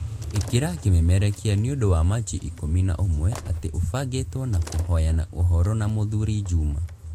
Ĩkĩra kĩmemerekia nĩ ũndũ wa machi ikũmi na ũmwe atĩ ũbangĩtwo na kũhoyana ũhoro na mũthuri juma